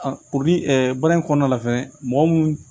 baara in kɔnɔna la fɛnɛ mɔgɔ mun